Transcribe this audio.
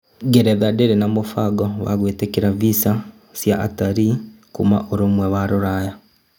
Ngeretha ndĩrĩ na mũbango gwĩtĩkĩra visa cia atarii Kuma ũrumwe wa Rũraya